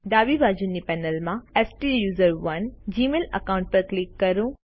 ડાબી બાજુની પેનલ માં સ્ટુસરોને જીમેઇલ અકાઉન્ટ પર ક્લિક કરો